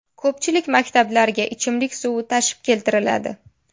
Ko‘pchilik maktablarga ichimlik suvi tashib keltiriladi.